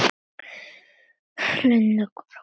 Linda: Hvar varstu?